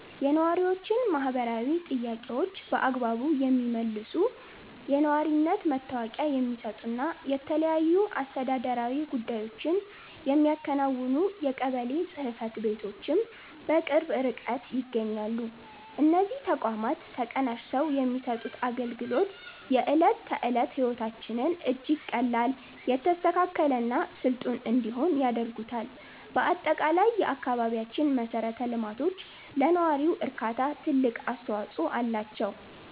የነዋሪዎችን ማህበራዊ ጥያቄዎች በአግባቡ የሚመልሱ፣ የነዋሪነት መታወቂያ የሚሰጡና የተለያዩ አስተዳደራዊ ጉዳዮችን የሚያከናውኑ የቀበሌ ጽሕፈት ቤቶችም በቅርብ ርቀት ይገኛሉ። እነዚህ ተቋማት ተቀናጅተው የሚሰጡት አገልግሎት፣ የዕለት ተዕለት ሕይወታችንን እጅግ ቀላል፣ የተስተካከለና ስልጡን እንዲሆን ያደርጉታል። በአጠቃላይ፣ የአካባቢያችን መሠረተ ልማቶች ለነዋሪው እርካታ ትልቅ አስተዋጽኦ አላቸው።